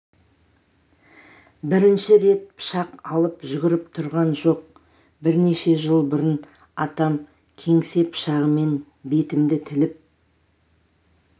бірінші рет пышақ алып жүгіріп тұрған жоқ бірнеше жыл бұрын атам кеңсе пышағымен бетімді тіліп